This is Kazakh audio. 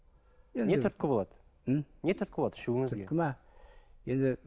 не түрткі болады м не түрткі болады ішуіңізге түрткі ме енді